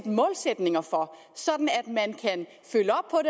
målsætninger for sådan